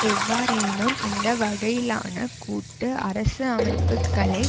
எவ்வாறெனினும் இந்த வகையிலான கூட்டு அரசு அமைப்புக்களை